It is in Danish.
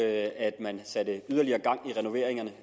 at man satte yderligere gang i renoveringerne